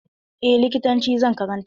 Eh, likitanci zan karanta.